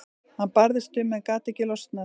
Hann barðist um en gat ekki losnað.